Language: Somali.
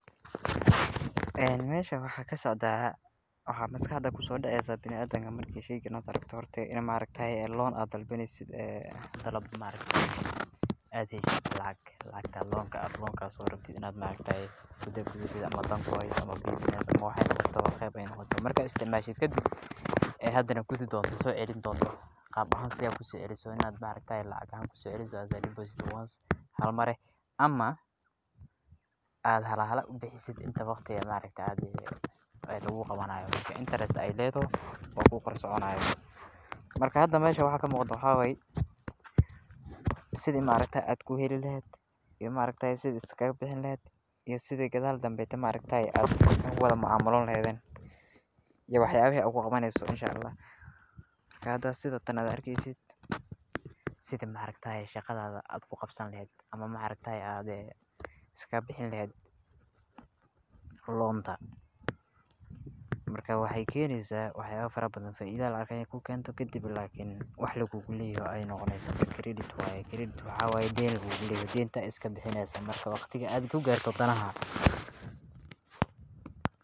Mashan waxa ka socdah wax maskaxda ku sodacaysah biladanka marka sheykan adrgtoh horti ina ay tahay loan ad dalbnasid ay dalab, ad halisid lacag lacag loanka ah loanka oo ad rabtid markata ama dan ku hasoh ama bussniess wax walbo ayay noqtoh marka ay isticmashid ka dhib aa hadanah kudi dontoh socalini dontoh qab ahan sidee ad ku socalisoh wa ina markati lacag ahan ogu socalimash depost halmar ah ama ad hala hal ubixisid inta waqta ah markata aa lagu qawanayo interest aya ladadhay wa ligu la soconayo, marka hada mash ka muqdoh wax waya, sida markta ad ku hali lahad iyo marakti ah iska bixini lahad iyo side gadal ay markta ah ogu malcmalalahadan iyoh wax yabihi ogu qawanaso inshallah marka sidatan ad argisid, sidan marktah shaqadada ad ku qabsani lahad ama markta ah aad iska bixini lahad loadada marka waxay kanaysah wax yaba farabadan faaida aya ku ganytoh ka dhib nah wax lagu lahay aya noqnasoh giiridada waya daan lagu lu layahay daanta iska bixinisah waqtika ad ku gartoh danahada.